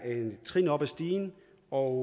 er et trin op ad stigen og